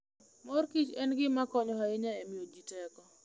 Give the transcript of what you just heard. Mor kich en gima konyo ahinya e miyo ji teko.